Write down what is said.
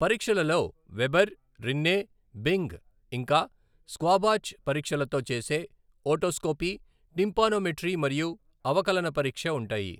పరీక్షలలో Weber, Rinne, Bing ఇంకా Schwabach పరీక్షలతో చేసే ఓటోస్కోపీ, టిమ్పానోమెట్రీ మరియు అవకలన పరీక్ష ఉంటాయి.